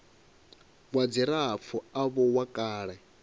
wa dzilafho avho wa kale